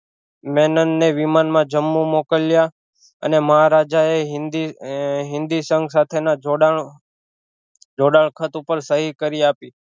મેનન ને વિમાન માં જમ્મુ મોકલ્યા અને મહારાજા એ હિન્દી હિન્દી સંઘ સાથે ના જોડાણ જોડાણ ખાતું પર સહી કરી આપી